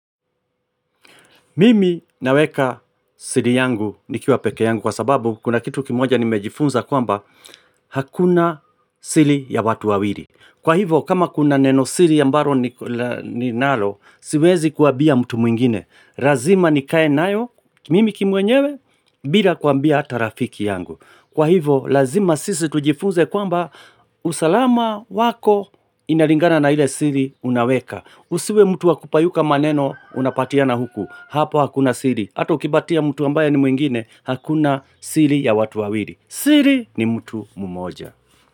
Mimi naweka siri yangu nikiwa peke yangu kwa sababu kuna kitu kimoja nimejifunza kwamba hakuna siri ya watu wawili. Kwa hivo kama kuna neno siri ambalo ninalo siwezi kuambia mtu mwingine. Lazima nikaye nayo mimi kimwenyewe bila kuambia ata rafiki yangu. Kwa hivo lazima sisi tujifunze kwamba usalama wako inalingana na ile siri unaweka. Usiwe mtu wakupayuka maneno unapatiana huku, hapo hakuna siri. Hata ukipatia mtu ambaye ni mwingine, hakuna siri ya watu wawili. Siri ni mtu mmoja.